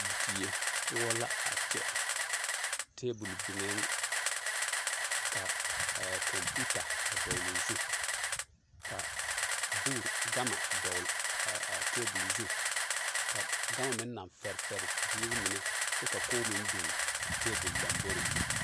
Die poɔ la a kyɛ tebol biŋɛɛŋ ka kɔmpuuta a dɔgloo zu ka bogruu gama a dɔgle a tebol zu ka gama meŋ naŋ fɛre fɛre a ziiri mine ka kog meŋ biŋ a tebol lɔmboreŋ.